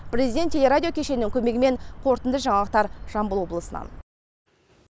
президент теле радио кешенінің көмегімен қорытынды жаңалықтар жамбыл облысынан